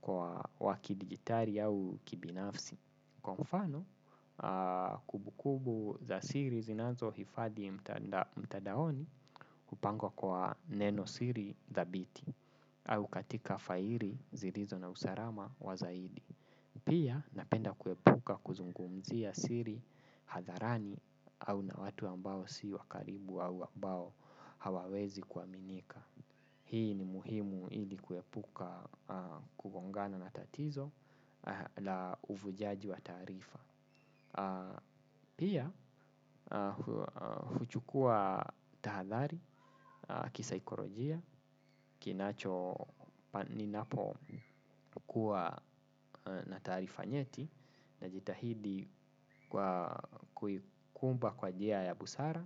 kwa wakidigitali au kibinafsi. Kwa mfano, kumbukumbu za siri zinazohifadi mtadaoni kupangwa kwa nenosiri thabiti au katika faili zirizo na usalama wa zaidi. Pia, napenda kuepuka kuzungumzia siri hadharani au na watu ambao si wa karibu au ambao hawawezi kwa minika. Hii ni muhimu hili kuepuka kugongana na tatizo la uvujaji wa tarifa. Pia huchukua tahadhari kisaikolojia kinacho ninapokuwa na taarifa nyeti. Najitahidi kwa kuikumba kwa njia ya busara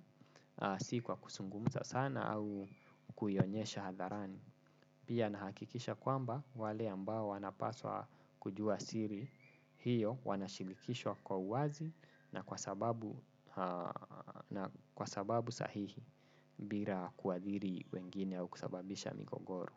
si kwa kuzungumza sana au kuionyesha hadharani. Pia nahakikisha kwamba wale ambao wanapaswa kujua siri hiyo wanashinikishwa kwa uwazi na kwa sababu sahihi bira kuadhiri wengine au kusababisha migogoro.